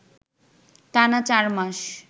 টানা চার মাস